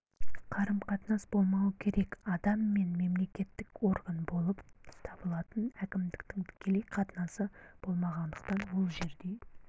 қарым-қатынас болмауы керек адам мен мемлекеттік орган болып табылатын әкімдіктің тікелей қатынасы болмағандықтан ол жерде